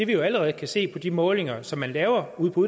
vi jo allerede se på de målinger som man laver ude på